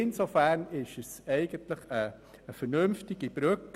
Insofern wird hier eine vernünftige Brücke gebaut: